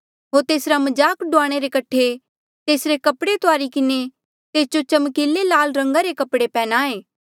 होर तेसरा मजाक डुआणे रे कठे तेसरे कपड़े तुआरी किन्हें तेस जो चमकीले लाल रंगा रे कपड़े पन्ह्याये